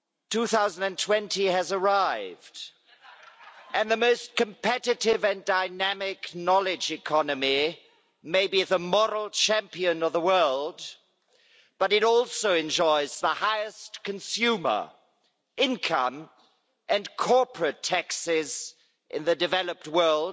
2020 has arrived and the most competitive and dynamic knowledge economy, maybe as a moral champion of the world, but it also enjoys the highest consumer income and corporate taxes in the developed world,